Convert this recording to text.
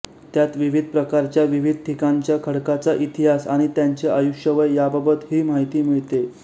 त्यात विविध प्रकारच्याविविध ठिकाणच्या खडकाचा इतिहास आणि त्यांचे आयुष्यवय याबाबत ही माहिती मिळते